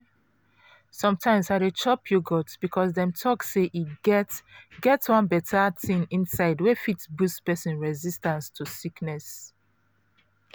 sometimes i dey chop yogurt because dem talk say e get get one beta thing inside wey fit boost persin resistance to sickness.